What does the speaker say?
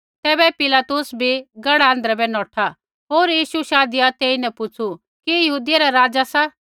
तैबै पिलातुस भी गढ़ा आँध्रै बै नौठा होर यीशु शाधिया तेईन पुछ़ु कि यहूदियै रा राज़ा सा